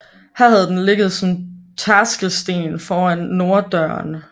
Her havde den ligget som tærskelsten foran norddøren